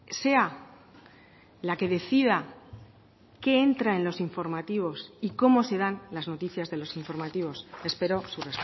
sea la que decida qué entra en los informativos y cómo se dan las noticias de los informativos espero su